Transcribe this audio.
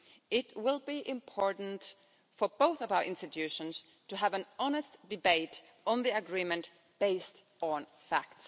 It will be important for both of our institutions to have an honest debate on the agreement, based on facts.